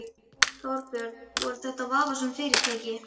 Þorbjörn: Voru þetta vafasöm fyrirtæki?